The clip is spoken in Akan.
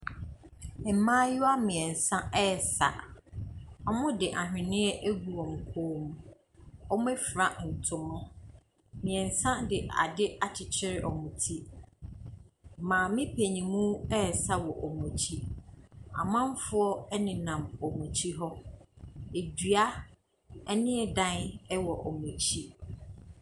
Mmaayewa mmiɛnsa ɛresa, wɔde aweneɛ agu wɔn kɔn mu, wɔafura ntoma. Mmiɛnsa de ade akyekyere wɔn ti, maame paninmu ɛresa wɔ wɔn akyi. Amamfoɔ nenam wɔn akyi hɔ, dua ne dan wɔ wɔn akyi.